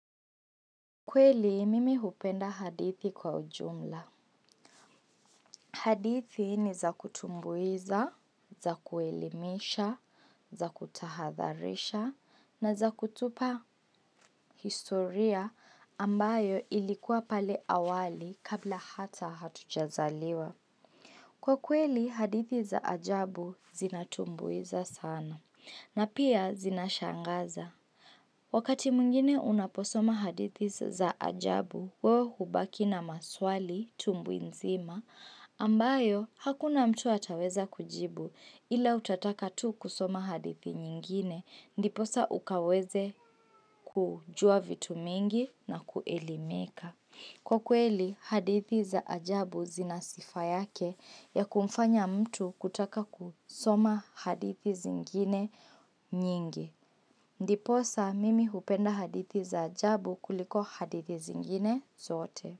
Kweli mimi hupenda hadithi kwa ujumla. Hadithi ni za kutumbuiza, za kuelimisha, za kutahadharisha, na za kutupa historia ambayo ilikuwa pale awali kabla hata hatujazaliwa. Kwa kweli, hadithi za ajabu zinatumbuiza sana, na pia zinashangaza. Wakati mwingine unaposoma hadithi za ajabu, wewe hubaki na maswali tumbuinzima, ambayo hakuna mtu ataweza kujibu ila utataka tu kusoma hadithi nyingine, ndiposa ukaweze kujua vitu mingi na kuelimika. Kwa kweli, hadithi za ajabu zina sifa yake ya kumfanya mtu kutaka kusoma hadithi zingine nyingi. Ndiposa, mimi hupenda hadithi za ajabu kuliko hadithi zingine zote.